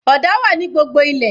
Ọ̀dà wà ní gbogbo ilẹ̀